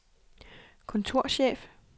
kontorchef